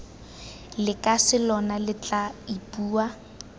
lekase lona lo tla ipua